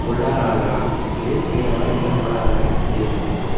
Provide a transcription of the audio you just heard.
கொள்ளாராதலான் இது பிறராலிகழப்படாதன செய்யவேண்டு மென்பது